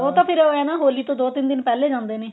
ਉਹ ਤਾਂ ਫੇਰ ਏਂ ਨਾ ਹੋਲੀ ਤੋਂ ਦੋ ਤਿੰਨ ਦਿਨ ਪਹਿਲਾ ਹੀ ਜਾਂਦੇ ਨੇ